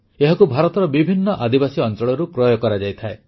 ଏହାକୁ ଭାରତର ବିଭିନ୍ନ ଆଦିବାସୀ ଅଂଚଳରୁ କ୍ରୟ କରାଯାଇଥାଏ